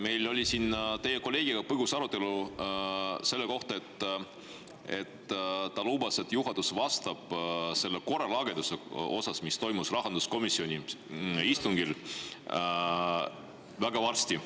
Meil oli siin teie kolleegiga põgus arutelu selle üle ja ta lubas, et juhatus vastab selle korralageduse kohta, mis toimus rahanduskomisjoni istungil, kohe varsti.